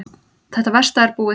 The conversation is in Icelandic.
Þetta versta er búið.